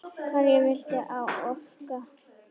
Hverju viltu áorka?